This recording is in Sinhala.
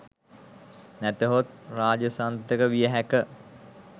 නැතහොත් රාජසන්තක විය හැක